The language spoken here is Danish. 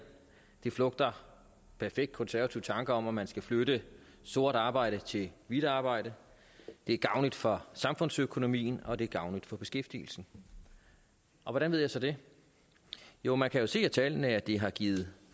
det flugter perfekt konservative tanker om at man skal flytte sort arbejde til hvidt arbejde det er gavnligt for samfundsøkonomien og det er gavnligt for beskæftigelsen hvordan ved jeg så det jo man kan se af tallene at det har givet